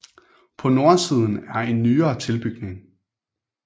På nordsiden er en nyere tilbygning